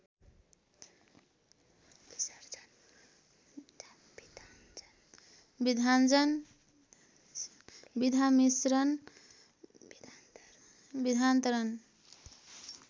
विधाञ्जन विधामिश्रण विधान्तरण